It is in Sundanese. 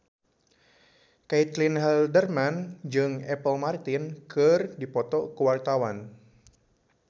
Caitlin Halderman jeung Apple Martin keur dipoto ku wartawan